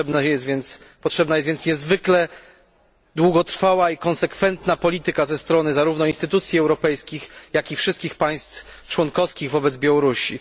Potrzebna jest więc niezwykle długotrwała i konsekwentna polityka ze strony zarówno instytucji europejskich, jak i wszystkich państw członkowskich wobec Białorusi.